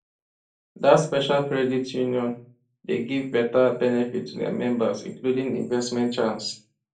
that special credit union dey give better benefit to their members including investment chance